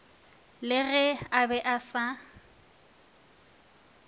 le ge a be asa